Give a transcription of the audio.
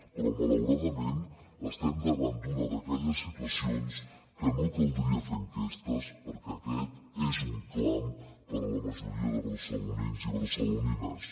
però malauradament estem davant d’una d’aquelles situacions que no caldria fer enquestes perquè aquest és un clam per a la majoria de barcelonins i barcelonines